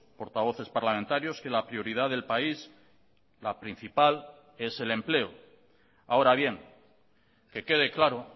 portavoces parlamentarios que la prioridad del país la principal es el empleo ahora bien que quede claro